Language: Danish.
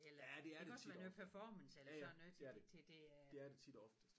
Ja det er det tit og ofte ja ja det er det det er det tit og ofte